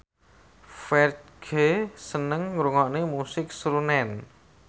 Ferdge seneng ngrungokne musik srunen